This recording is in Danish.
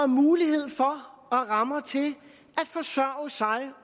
mulighed for og rammer til at forsørge sig